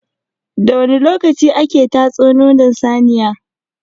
Da wani lokaci ake tatso nono saniya?